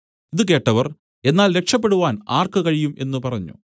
ഇതു കേട്ടവർ എന്നാൽ രക്ഷപെടുവാൻ ആർക്ക് കഴിയും എന്നു പറഞ്ഞു